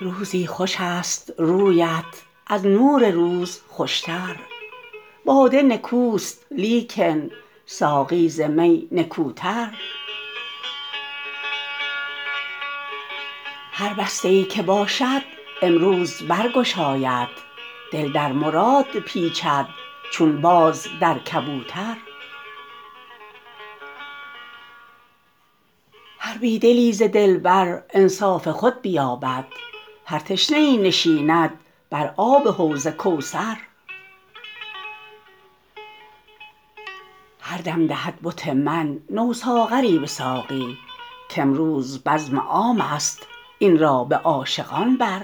روزی خوشست رویت از نور روز خوشتر باده نکوست لیکن ساقی ز می نکوتر هر بسته ای که باشد امروز برگشاید دل در مراد پیچد چون باز در کبوتر هر بی دلی ز دلبر انصاف خود بیابد هر تشنه ای نشیند بر آب حوض کوثر هر دم دهد بت من نو ساغری به ساقی کامروز بزم عامست این را به عاشقان بر